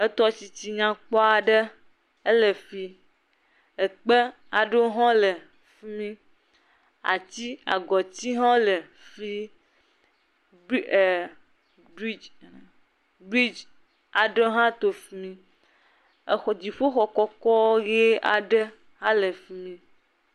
Etɔ si dzi nyakpɔ aɖe ele fi. Ekpe aɖewo hã le fi mi. Atsi agɔtsi hã wo le fii. Br e brigi aɖewo hã to fi mi. exɔ dziƒoxɔ kɔkɔ ʋi aɖe hã le fi mi.